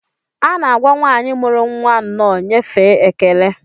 A na-agwa nwanyị muru nwa nnọọ nyefee ekele